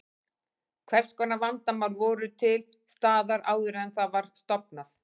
Hvers konar vandamál voru til staðar áður en það var stofnað?